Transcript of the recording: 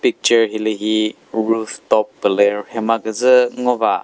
picture hilühi rooftop pü lü rhe ma küdzü ngo va.